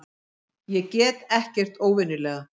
Ég get ekkert óvenjulega.